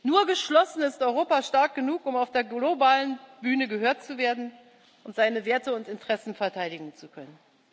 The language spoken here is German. Nur geschlossen ist Europa stark genug, um auf der globalen Bühne gehört zu werden und seine Werte und Interessen verteidigen zu können.